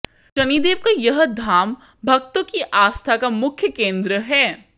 शनिदेव का यह धाम भक्तों की आस्था का मुख्य केंद्र है